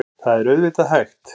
Það er auðvitað hægt.